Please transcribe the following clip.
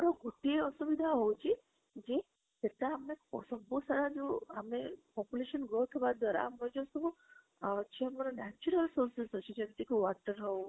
ଗୋଟିଏ ଅସୁବବୁଦ୍ଧ ହଉଛି ସେଟା ଆମେ ଯୋଉ ଆମେ population growth ହବା ଦ୍ବାରା ଆମର ଯୋଉ ସବୁ ଅଛି ଆମର natural sources ଅଛି ଯେମିତି କି water ହଉ